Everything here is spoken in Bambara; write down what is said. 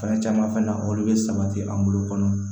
Fɛn caman fana olu bɛ sabati an bolo kɔnɔ